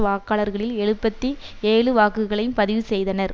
வாக்காளர்களில் எழுபத்தி ஏழு வாக்குகளையும் பதிவு செய்தனர்